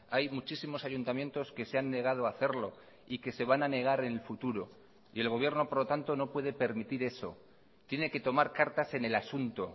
hay muchísimos ayuntamientos que se han negado a hacerlo y que se van a negar en el futuro y el gobierno por lo tanto no puede permitir eso tiene que tomar cartas en el asunto